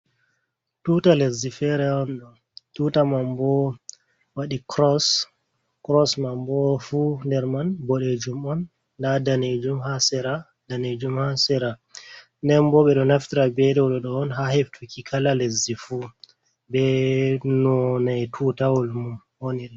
Tuta lezzi fere on tuta mam bow waɗi kros mam bow fu der man bodejum on da danejum rdanejum ha sera nden bo be do naftta be dawlo do on ha heftuki kala lezzi fu be nonai tutawol mum onire.